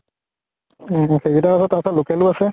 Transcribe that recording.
উম । সেইকেইতা ও আছে । তাৰপিছত local ও আছে ।